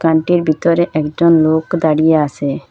দোকানটির ভিতরে একজন লোক দাঁড়িয়ে আসে।